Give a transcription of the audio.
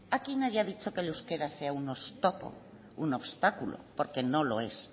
aquí nadie ha dicho que el euskera sea un oztopo un obstáculo porque lo no es